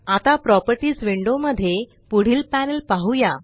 आता properties window मध्ये पुढील पॅनल पाहुया